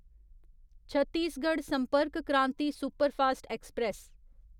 Chhattisgarh Sampark Kranti superfast express